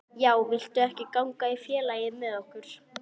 Já, viltu ekki ganga í félagið með okkur?